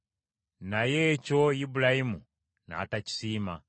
Naye ekyo Ibulayimu n’atakisiima.